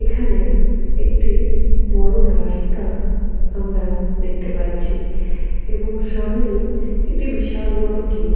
এখানে একটি বড় রাস্তা আমরা দেখতে পাচ্ছি এবং সামনেই একটি বিশাল বড় গেট ।